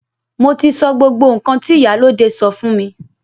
Mo ti sọ gbogbo nkan ti ìyálóde sọ fún mi.